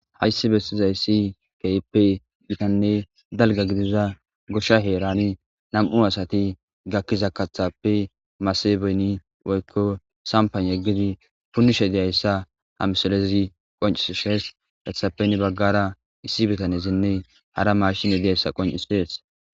hayssi bestiza yissi keippe dhitanne dalga gidiza goshsha heerani nam7u asati gakkiza kathappe masebeni woykko sampan yeggidi punnishe diyayssa hamsalezi qoncisshees dethappen baggara issi bitanesinne hara mashine diyayssa qoncisdees